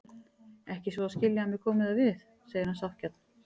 Ekki svo að skilja að mér komi það við, segir hann sáttgjarn.